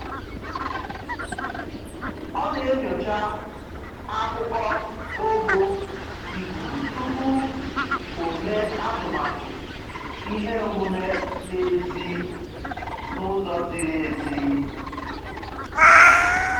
Ọ na-enyocha akụkọ ogo ikuku tupu o mee atụmatụ ihe omume n'èzí n'ụzọ ziri ezi